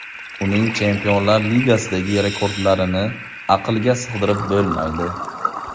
Uning Chempionlar Ligasidagi rekordlarini aqlga sig‘dirib bo‘lmaydi.